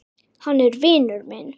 Hann er vinur minn.